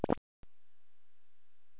Það var heyjað á nokkrum túnum.